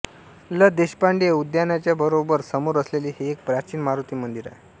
ल देशपांडे उद्यानाच्या बरोबर समोर असलेले हे एक प्राचीन मारुती मंदिर आहे